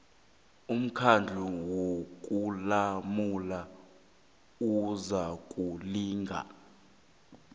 umkhandlu wokulamula uzakulinga